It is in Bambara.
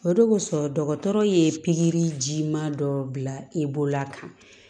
O de kosɔn dɔgɔtɔrɔ ye pikirijiman dɔ bila e bolola kan